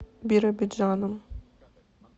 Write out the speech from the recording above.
биробиджаном